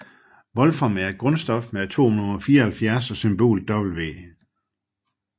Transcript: Wolfram er et grundstof med atomnummer 74 og symbolet W